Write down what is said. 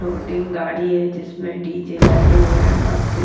loading गाड़ी है जिसमें डी_जे लगे हुए हैं --